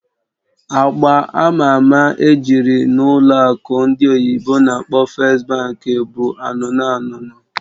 Agba ama ama ejiri n'ụlọ akụ ndị oyibo n'akpọ "First Bank" bụ agba anụnụ anụnụ